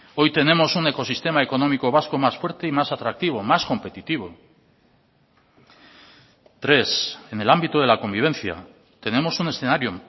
hoy tenemos un ecosistema económico vasco más fuerte y más atractivo más competitivo tres en el ámbito de la convivencia tenemos un escenario